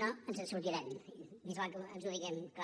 no ens en sortirem més val que ens ho diguem clar